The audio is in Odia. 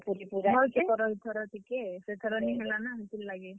ନି କରନ ଇ ଥର ଟିକେ। ସେଥର ନି ହେଲା ନା ହେତିର୍ ଲାଗି।